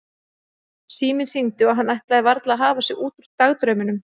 Síminn hringdi og hann ætlaði varla að hafa sig út úr dagdraumunum.